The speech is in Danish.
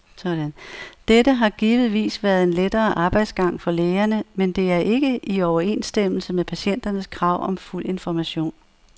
Dette har givetvis været en lettere arbejdsgang for lægerne, men det er ikke i overensstemmelse med patienternes krav om fuld information.